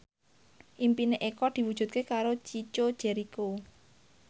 impine Eko diwujudke karo Chico Jericho